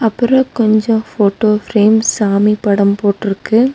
அப்றோ கொஞ்சோ photo frames சாமி படம் போட்டுருக்கு.